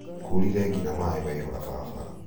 kuurire nginya maĩ maihũra barabara.